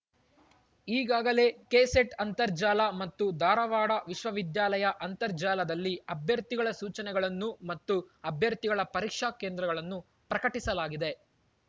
ಈಗಾಗಲೇ ಕೆಸೆಟ್‌ ಅಂತರ್ಜಾಲ ಮತ್ತು ದಾರವಾಡ ವಿಶ್ವವಿದ್ಯಾಲಯ ಅಂತರ್ಜಾಲದಲ್ಲಿ ಅಭ್ಯರ್ಥಿಗಳ ಸೂಚನೆಗಳನ್ನು ಮತ್ತು ಅಭ್ಯರ್ಥಿಗಳ ಪರೀಕ್ಷಾ ಕೇಂದ್ರಗಳನ್ನು ಪ್ರಕಟಿಸಲಾಗಿದೆ